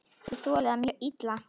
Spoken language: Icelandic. Ég þoli það mjög illa.